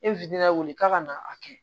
E wi lawuli k'a ka na a kɛ